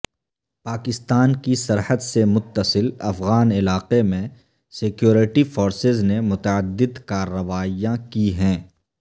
پاکستان کی سرحد سے متصل افغان علاقے میں سکیورٹی فورسز نے متعدد کارروائیاں کی ہیں